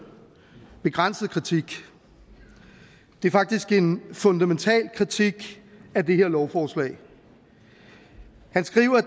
begrænset kritik det er faktisk en fundamental kritik af det her lovforslag han skriver at